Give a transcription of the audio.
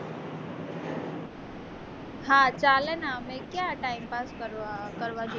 હા ચાલે ને આમેય તે ક્યાં time pass કરવો